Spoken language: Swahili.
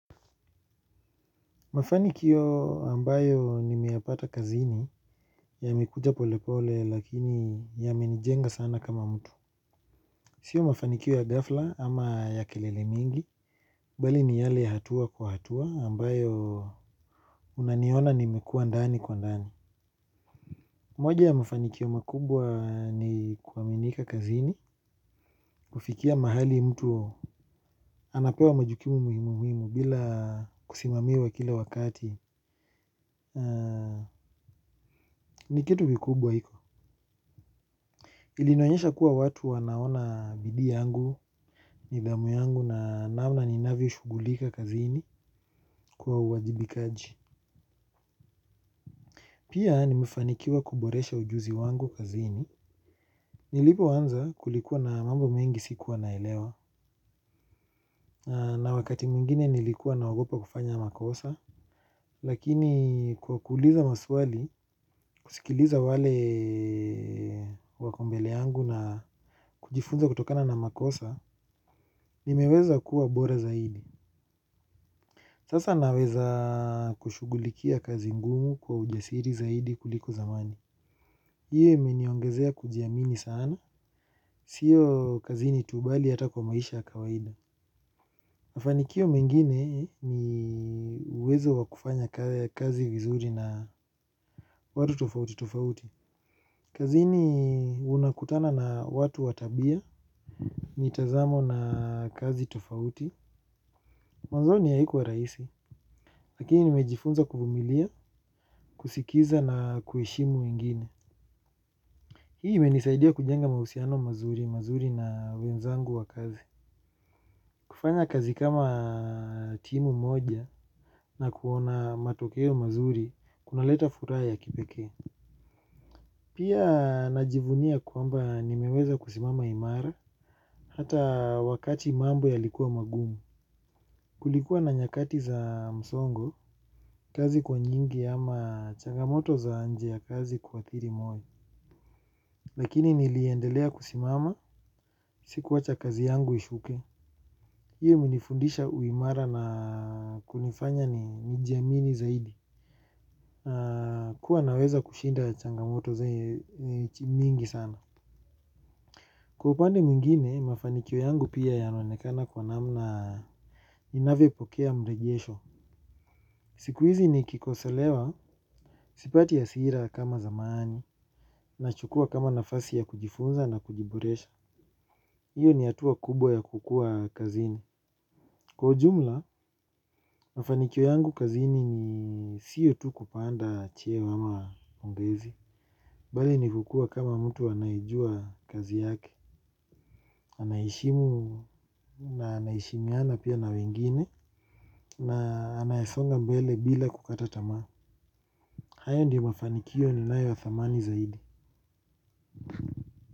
Mafanikio ambayo nimeyapata kazini yamekuja pole pole lakini yamenijenga sana kama mtu sio mafanikio ya ghafla ama ya kelele mingi bali ni yale ya hatua kwa hatua ambayo unaniona nimekua ndani kwa ndani moja ya mafanikio makubwa ni kuaminika kazini kufikia mahali mtu anapewa majukumu muhimu muhimu bila kusimamiwa kila wakati nikitu vikubwa hivo ilinionyesha kuwa watu wanaona bidii yangu, nidhamu yangu na namna ninavyo shughulika kazini kwa uwajibikaji. Pia nimefanikiwa kuboresha ujuzi wangu kazini. Nilipo anza kulikuwa na mambo mengi sikuwa naelewa na wakati mwingine nilikuwa na naogopa kufanya makosa. Lakini kwa kuuliza maswali, kusikiliza wale wako mbele yangu na kujifunza kutokana na makosa, nimeweza kuwa bora zaidi. Sasa naweza kushughulikia kazi ngumu kwa ujasiri zaidi kuliko zamani ii imeniongezea kujiamini sana sio kazini tu bali hata kwa maisha ya kawaida mafanikio mengine ni uwezo wa kufanya kazi vizuri na watu tofauti tofauti kazini unakutana na watu watabia mitazamo na kazi tofauti. Mwanzoni haikuwa rahisi lakini nimejifunza kuvumilia, kusikiza na kuheshimu wengine hii imenisaidia kujenga mahusiano mazuri, mazuri na wenzangu wa kazi kufanya kazi kama timu moja na kuona matokeo mazuri, kuna leta furaha ya kipekee pia najivunia kwamba nimeweza kusimama imara, hata wakati mambo yalikuwa magumu kulikuwa na nyakati za msongo, kazi kuwa nyingi ama changamoto za nje ya kazi kua athiri moyo lakini niliendelea kusimama, sikuwacha kazi yangu ishuke hiyo imenifundisha uimara na kunifanya ni jiamini zaidi kua naweza kushinda changamoto zenye ni mingi sana kwa upande mwingine mafaniko yangu pia yanaonekana kwa namna inavyo pokea mrejesho siku hizi nikikosolewa, sipati hasira kama zamani nachukua kama nafasi ya kujifunza na kujiboresha hio ni hatua kubwa ya kukua kazini. Kwa ujumla, mafanikio yangu kazini sio tu kupanda cheo ama ongezi. Bali ni kukua kama mtu anaijua kazi yake. Ana heshimu na ana heshimiana pia na wengine na anayesonga mbele bila kukata tamaa. Hayo ndio mafanikio ninayo ya thamani zaidi.